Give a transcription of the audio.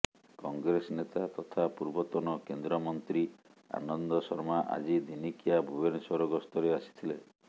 କଂଗ୍ରେସ ନେତା ତଥା ପୂର୍ବତନ କେନ୍ଦ୍ରମନ୍ତ୍ରୀ ଆନନ୍ଦ ଶର୍ମା ଆଜି ଦିନିକିଆ ଭୁବନେଶ୍ୱର ଗସ୍ତରେ ଆସିଥିଲେ